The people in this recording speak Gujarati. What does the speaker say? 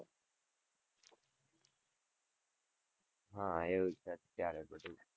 હા, એવું છે, અત્યારે તો બધું છે,